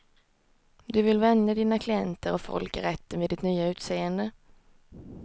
Du vill vänja dina klienter och folk i rätten vid ditt nya utseende.